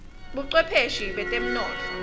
bocwephesha betemnotfo